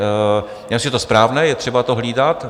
Já myslím, že je to správné, je třeba to hlídat.